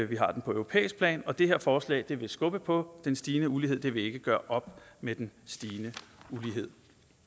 vi har det på europæisk plan det her forslag vil skubbe på den stigende ulighed det vil ikke gøre op med den stigende ulighed